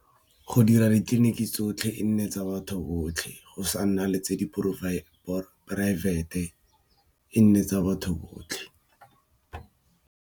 Go dira ditleliniki tsotlhe e nne tsa batho botlhe go sa nna le tse di or poraefete e nne tsa batho botlhe.